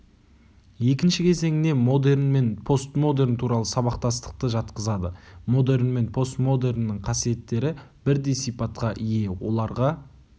екінші кезеңіне модерн мен постмодерн туралы сабақтастықты жатқызады модерн мен постмодерннің қасиеттері бірдей сипатқа ие оларға